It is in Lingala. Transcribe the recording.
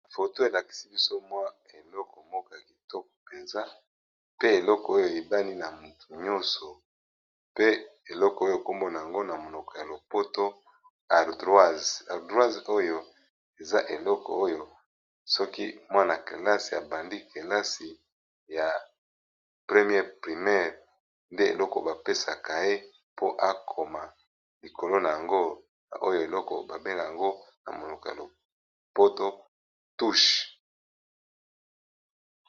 Foto elakisi biso mwa eleko moko ya kitoko mpenza. Pe eleko oyo eyebani na moto nyonso. Pe eleko oyo kombo na yango na monoko ya lopoto ardoise. Ardoise oyo eza eleko oyo soki mwana-kelasi abandi kelasi ya premier primere nde eloko ba pesakaye po akoma. Likolo na yango oyo eloko ba benga yango na monoko ya lopoto touche.